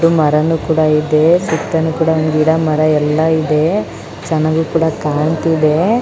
ಮಾರನು ಕೂಡ ಇದೆ ಸೂತನು ಕೂಡ ಗಿಡ ಮರ ಎಲ್ಲ ಇದೆ ಚೆನ್ನಾಗೂ ಕೂಡ ಕಾಣ್ತಿದೆ.